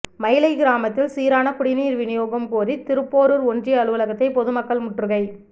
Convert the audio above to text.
மயிலை கிராமத்தில் சீரான குடிநீர் வினியோகம் கோரி திருப்போரூர் ஒன்றிய அலுவலகத்தை பொதுமக்கள் முற்றுகை